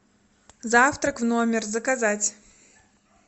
завтрак в номер заказать